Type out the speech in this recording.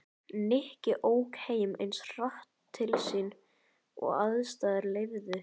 Nikki ók eins hratt heim til sín og aðstæður leyfðu.